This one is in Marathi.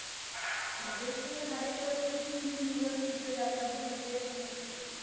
म्हणजे ते हर एक वर्षी तीन दिवस तिथं यात्रा भरतेच भरते.